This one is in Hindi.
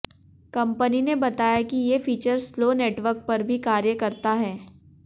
कंपनी ने बताया कि ये फीचर स्लो नेटवर्क पर भी कार्य करता है